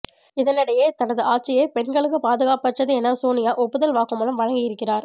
இதனிடையே தனது ஆட்சியே பெண்களுக்குப் பாதுகாப்பற்றது என சோனியா ஒப்புதல் வாக்குமூலம் வழங்கியிருக்கிறார்